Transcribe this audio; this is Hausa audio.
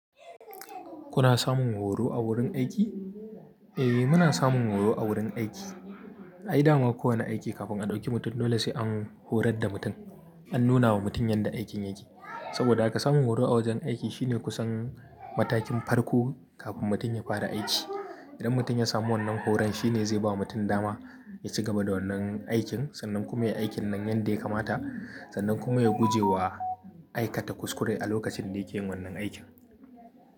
Kuna samun horo a wurin aiki? Eh, muna samun horo a wurin aiki. Ai dama kowane aiki kafin a ɗauki mutum dole sai an horar da mutum. An nuna wa mutum yanda aikin yake. Saboda haka samun horo a wajen aiki shine kusan matakin farko kafin mutum ya fara aiki. Idan mutum ya samu wannan horon shine zai bawa mutum dama ya ci gaba da wannan aikin sannan kuma ya yi aikin nan yanda ya kamata sannan kuma ya guje wa aikata kuskure a lokacin da yake yin wannan aikin.